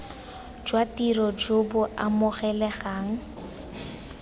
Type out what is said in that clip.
jwa tiro jo bo amogelegang